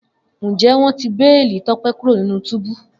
Njẹ wọn ti beeli Tope kuro ninu tubu?